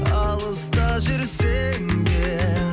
алыста жүрсем де